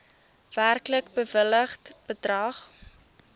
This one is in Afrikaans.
werklik bewilligde bedrag